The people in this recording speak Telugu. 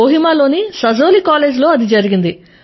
కోహిమా లోని సజోలీ కాలేజ్ లో అది జరిగింది